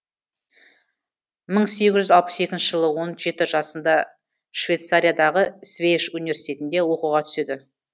мың сегіз жүз алпыс екінші жылы он жеті жасында швейцариядағы свейш университетінде оқуға түседі